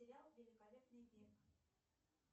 сериал великолепный век